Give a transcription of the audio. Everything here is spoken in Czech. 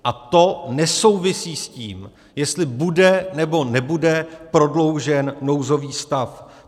A to nesouvisí s tím, jestli bude nebo nebude prodloužen nouzový stav.